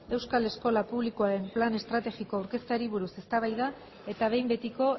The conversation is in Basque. euskal eskola publikoaren plan estrategikoa aurkezteari buruz eztabaida eta behin betiko